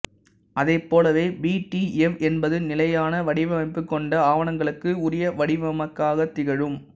அதைப்போலவே P D F என்பது நிலையான வடிவமைப்புக் கொண்ட ஆவணங்களுக்கு உரிய வடிவமாகத் திகழும்